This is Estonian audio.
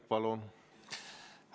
Palun!